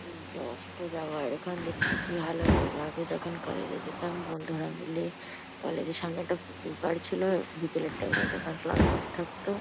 সূর্য অস্ত যাওয়ার এখন দেখতে কি ভালো লাগে। আগে যখন কলেজ -এ যেতাম বন্ধুরা মিলে কলেজ -এর সামনে একটা পুকুর পাড় ছিল। বিকেলের টাইম -এ যখন ক্লাস অফ থাকত --